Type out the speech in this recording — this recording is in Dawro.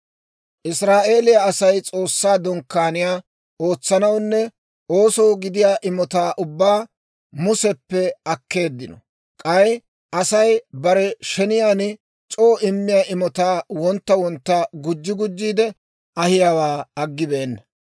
Israa'eeliyaa Asay S'oossaa Dunkkaaniyaa ootsanawunne oosoo gidiyaa imotaa ubbaa Museppe akkeeddino. K'ay Asay bare sheniyaan c'oo immiyaa imotaa wontta wontta gujji gujjiide ahiyaawaa aggibeenna.